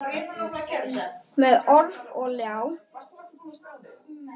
Með orf og ljá.